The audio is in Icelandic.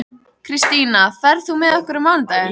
Kristína, ferð þú með okkur á mánudaginn?